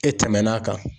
E tɛmɛn'a kan